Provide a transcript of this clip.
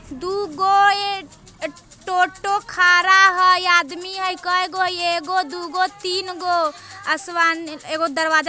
दूगो एह टोटो खरा है आदमी है कईगो एगो दूगो तीनगो| आसमान एगो दरवाजा --